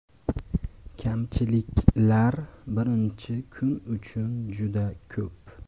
Kamchiliklar birinchi kun uchun juda ko‘p.